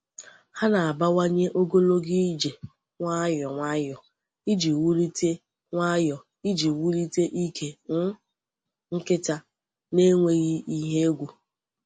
Ha na-abawanye ogologo ije nwayọ nwayọ iji wulite nwayọ iji wulite ike um nkịta n’enweghị ihe egwu.